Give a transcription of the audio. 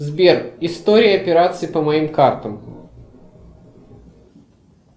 сбер история операций по моим картам